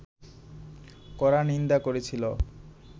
কড়া নিন্দা করেছিল